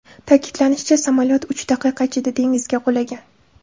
Ta’kidlanishicha, samolyot uch daqiqa ichida dengizga qulagan.